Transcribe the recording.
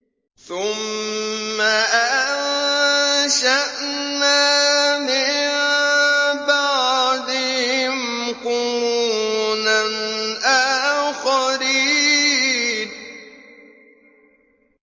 ثُمَّ أَنشَأْنَا مِن بَعْدِهِمْ قُرُونًا آخَرِينَ